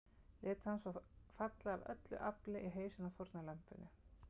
Lét hann svo falla AF ÖLLU AFLI í hausinn á fórnarlambinu.